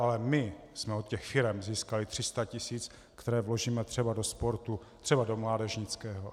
Ale my jsme od těch firem získali 300 tisíc, které vložíme třeba do sportu, třeba do mládežnického.